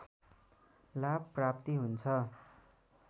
लाभ प्राप्ति हुन्छ